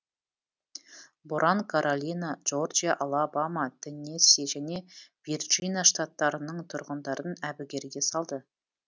боран каролина джорджия алабама теннесси және вирджина штаттарының тұрғындарын әбігерге салды